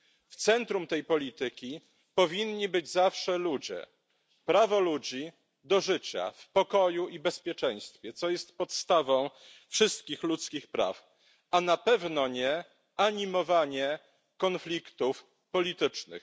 W centrum tej polityki powinni być zawsze ludzie prawo ludzi do życia w pokoju i bezpieczeństwie, co jest podstawą wszystkich ludzkich praw, a na pewno nie animowanie konfliktów politycznych.